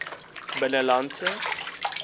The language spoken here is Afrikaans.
binnelandse